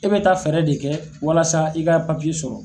E bɛ taa fɛɛrɛ de kɛ walasa i ka sɔrɔ.